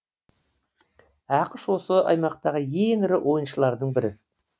ақш осы аймақтағы ең ірі ойыншылардың бірі